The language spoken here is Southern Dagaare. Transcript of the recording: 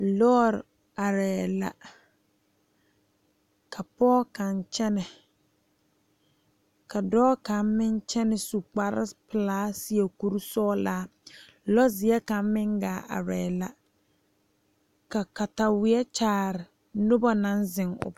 Lɔɔre are la ka pɔge kaŋa kyɛne ka dɔɔ kaŋa meŋ kyɛne su kpar pelaa seɛ kur sɔglaa, lɔzeɛ kaŋa meŋ gaa aree la ka katawie kyaare noba naŋ zeŋ o poɔ.